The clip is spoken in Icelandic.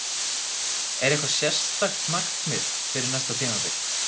Er eitthvað sérstakt markmið fyrir næsta tímabil?